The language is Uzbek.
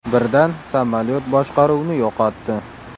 Birdan samolyot boshqaruvni yo‘qotdi.